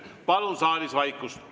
Palun saalis vaikust!